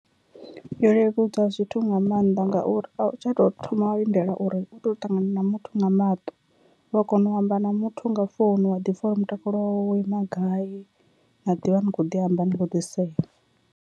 Yo leludza zwithu nga maanḓa ngauri a u tsha to thoma wa lindela uri u to ṱangana na muthu nga maṱo, u wa kona u amba na muthu nga founu wa ḓi pfha uri mutakalo wawe wo ima gai na ḓivha ni kho ḓi amba ni khou ḓi sea.